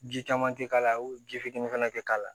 Ji caman tɛ k'a la ji fitinin fana tɛ k'a la